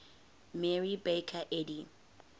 mary baker eddy